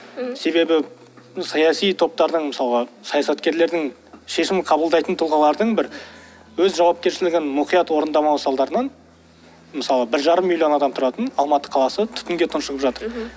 мхм себебі саяси топтардың мысалғы саясаткерлердің шешімін қабылдайтын тұлғалардың бір өз жауапкершілігін мұқият орындамау салдарынан мысалы бір жарым миллион адам тұратын алматы қаласы түтінге тұншығып жатыр мхм